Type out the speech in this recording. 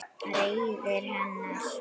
Reiði hennar